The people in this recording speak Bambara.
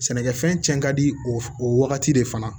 Sɛnɛkɛfɛn cɛn ka di o wagati de fana